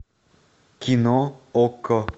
кино окко